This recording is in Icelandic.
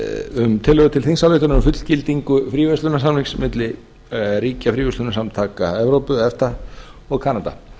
um tillögu til þingsályktunar um fullgildingu fríverslunarsamnings milli ríkja fríverslunarsamtaka evrópu efta og kanada